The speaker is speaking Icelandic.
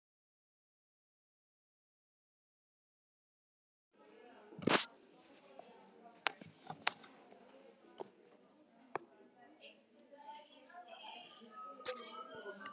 Guð minn góður, hvað hafði ég gert?